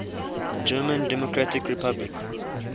german democratic republic